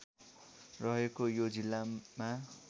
रहेको यो जिल्लामा